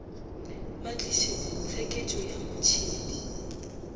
ba tliše tsheketšo ya motšhedi